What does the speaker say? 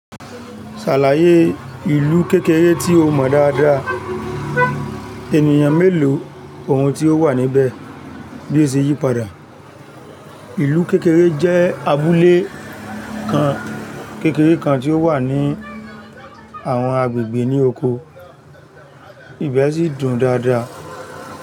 Ṣàlàyé ìlú kékeré tí o mọ̀ dáadáa, ènìyàn mélòó, ohun tí ó wà níbẹ̀, bí ó ṣe yí padà. Ìlú kékeré jẹ́ abúlé kan kékeré kan tí ó wà ní àwọn agbègbè ní oko, ìbẹ́ sì dùn dáadáa.